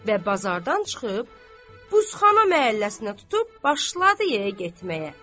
Və bazardan çıxıb buzxana məhəlləsinə tutub başladı yeyə getməyə.